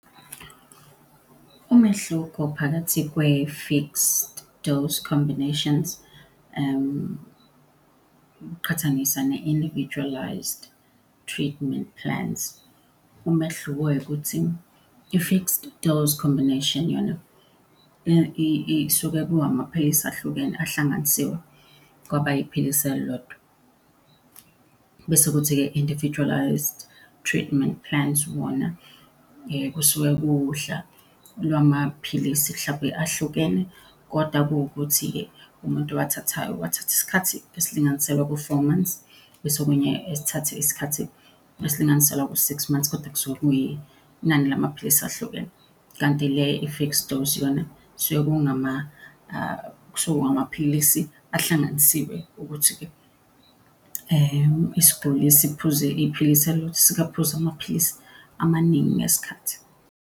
Umehluko phakathi kwe-fixed-dose combinations uqhathanisa ne-individualist treatment plans. Umehluko wayo ukuthi i-fixed dose combination yona isuke kuhhamaphilisi ahlukene ahlanganisiwe kwaba iphilisi elilodwa. Bese kuthi-ke individualist treatment plans wona kusuke kuwuhla lwamaphilisi hlampe ahlukene kodwa kuwukuthi-ke umuntu owathathayo uwathatha isikhathi esilinganiselwa ku-four months bese okunye esithathe isikhathi esilinganiselwa ku-six months kodwa kusuke kuyinani lamaphilisi ahlukene. Kanti le i-fixed-dose yona kusuke kungamaphilisi ahlanganisiwe ukuthi-ke isiguli siphuze iphilisi elilodwa, singaphuzi amaphilisi amaningi ngesikhathi.